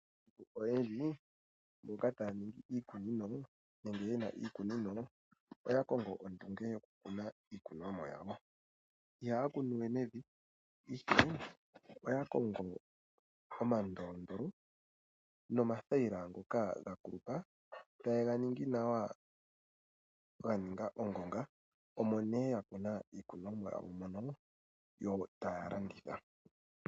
Aantu oyendji mboka taa ningi iikunino nenge yena iikunino oya kongo ondunge yokukuna iikunomwa yawo. ihaya kunu we mevi , ihe oya kongo omandolondolo nomathayila ngoka ga kulupa tayega tungu nawa molupe lwongonga ,omo haa kunu iikunomwa yawo yo taya landitha